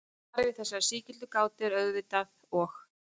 Svarið við þessari sígildu gátu er auðvitað og.